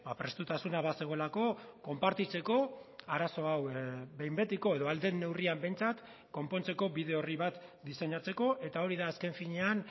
prestutasuna bazegoelako konpartitzeko arazo hau behin betiko edo ahal den neurrian behintzat konpontzeko bide orri bat diseinatzeko eta hori da azken finean